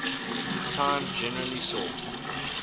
time generally saw